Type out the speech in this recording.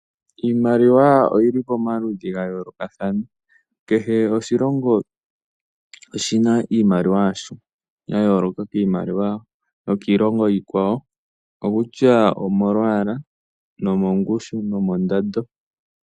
Iimaliwa oyili pamaludhi ga yooloka kehe oshilongo oshina iimaliwa yasho yaayooloka kiimaliwa yokiilongo iikwawo okutya omolwaala nomongushu nomondando.